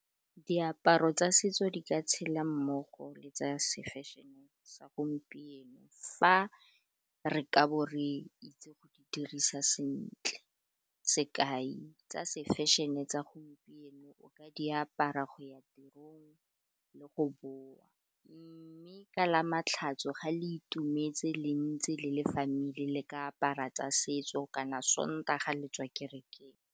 Diaparo tsa setso di ka tshela mmogo le tsa se fashion-e sa gompieno, fa re ka bo re itse go di dirisa sentle, sekai tsa se fashion-e tsa gompieno o ka diapara go ya tirong le go boa, mme ka Lamatlhatso ga le itumetse le ntse le le family le ka apara tsa setso kana Sontaga le tswa kerekeng.